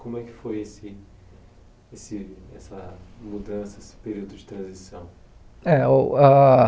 Como é que foi esse esse essa mudança, esse período de transição? Eh uh ah